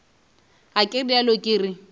ga ke realo ke re